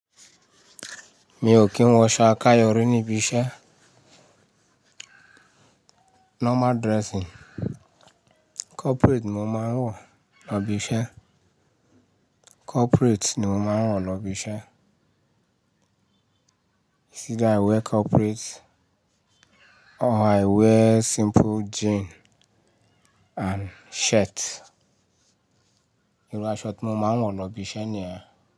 Mi ò kí ń wọ ṣo aká yọrí níbi iṣẹ́. Normal dressing, corporate ni mo máa ń wọ̀ lọ ibi iṣẹ́. Corporate ni mo máa ń wọ̀ lọ ibi iṣẹ́. It's either i wear corporate or i wear simple jean and shirt. Ìru aṣọ tí mo máa ń wọ̀ lọ ibi iṣẹ́ ni ẹ.